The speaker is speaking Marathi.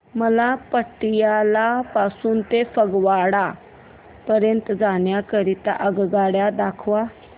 मला पटियाला पासून ते फगवारा पर्यंत जाण्या करीता आगगाड्या दाखवा